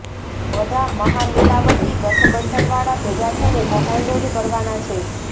બધા મહામિલાવટી ગઠબંધન વાળા ભેગા થઇને કૌભાંડો જ કરવાના છે